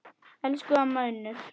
Elsku amma Unnur.